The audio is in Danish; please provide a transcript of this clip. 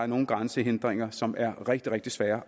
nogle grænsehindringer som er rigtig rigtig svære